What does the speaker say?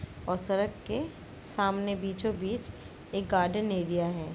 और सड़क के सामने बीचों बीच एक गार्डन एरिया है ।